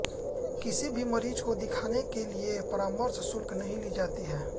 किसी भी मरीज को दिखाने के लिए परामर्श शुल्क नहीं ली जाती है